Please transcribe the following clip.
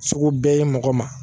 Sugu bɛɛ ye mɔgɔ ma